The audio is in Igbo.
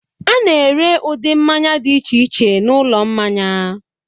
A na-ere ụdị mmanya dị iche iche n'ụlọ mmanya.